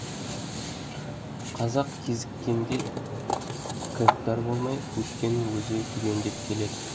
қазақ кезіккенге кіріптар болмай өткенін өзі түгендеп келеді